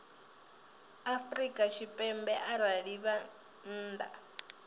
afrika tshipembe arali vha nnḓa